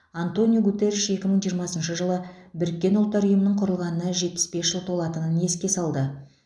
антониу гутерриш екі мың жиырмасыншы жылы біріккен ұлттар ұйымының құрылғанына жетпіс бес жыл толатынын еске салды